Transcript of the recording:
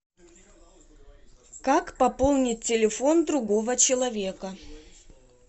как пополнить телефон другого человека